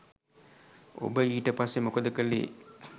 ඔබ ඊට පස්සේ මොකද කළේ?